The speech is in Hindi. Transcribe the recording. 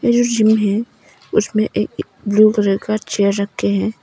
उसमें एक ब्लू कलर का चेयर रखे हैं।